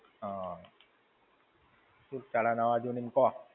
હમ. શું ચાલે નવા-જૂની માં, કહો.